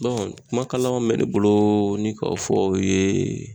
Dɔnku kuma kan laban min be ne bolo ni ka o fɔ u yee